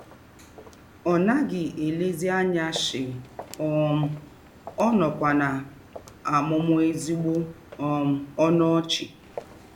Ọ naghị elezi anya shii um, ọ nọkwa na - amụmụ ezịgbọ um ọnụ ọchị.